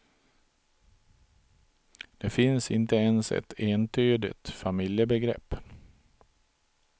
Det finns inte ens ett entydigt familjebegrepp.